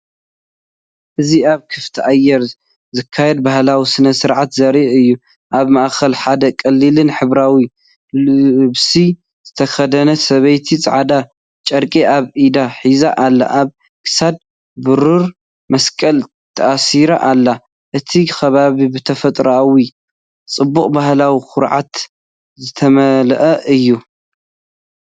እዚ ኣብ ክፉት ኣየር ዝካየድ ባህላዊ ስነ-ስርዓት ዘርኢ እዩ። ኣብ ማእከል ሓደ ቀሊልን ሕብራዊን ልብሲ ዝተኸድነ ሰበይቲ ጻዕዳ ጨርቂ ኣብ ኢዳ ሒዛ ኣላ። ኣብ ክሳዳ ብሩር መስቀል ተኣሲሩ ኣሎ። እቲ ከባቢ ብተፈጥሮኣዊ ጽባቐን ባህላዊ ኩርዓትን ዝተመልአ እዩ።